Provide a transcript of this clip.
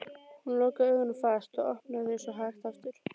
Hún lokaði augunum fast og opnaði þau svo hægt aftur.